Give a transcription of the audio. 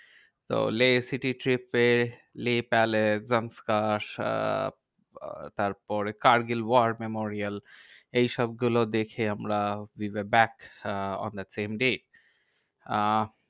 তো Leh city trip এ Leh palace ah ah তারপরে কার্গিল war memorial এইসব গুলো দেখে আমরা we were back ah on the same day. Ah